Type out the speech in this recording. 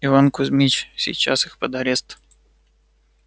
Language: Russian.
иван кузмич сейчас их под арест